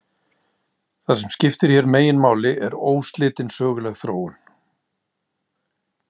Það sem skiptir hér meginmáli er óslitin söguleg þróun.